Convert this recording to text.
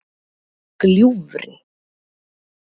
Gljúfri